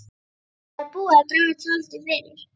Það er búið að draga tjaldið fyrir.